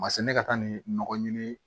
Ma se ne ka taa ni nɔgɔ ɲini